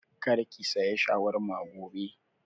Kar ki saya shawarma gobe!